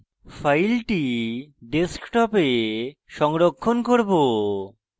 file ডেস্কটপে সংরক্ষণ করব